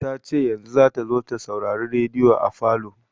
Ta ce yanzu za ta zo ta saurari rediyo a falo.